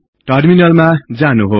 टर्मिनालमा जानुहोस्